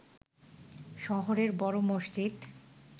শহরের বড় মসজিদ